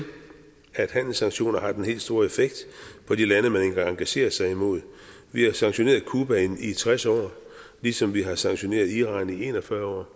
at handelssanktioner har den helt store effekt på de lande man engagerer sig imod vi har sanktioneret cuba i tres år ligesom vi har sanktioneret iran i en og fyrre år